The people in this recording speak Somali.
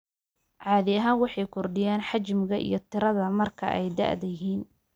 Caadi ahaan waxay kordhiyaan xajmiga iyo tirada marka ay da'da yihiin.